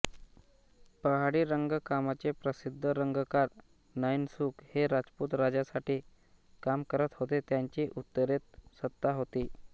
पहाडी रंगकामाचे प्रसिद्ध रंगकार नैनसुख हे राजपूत राजासाठी काम करत होते ज्यांची उत्तरेत सत्ता होती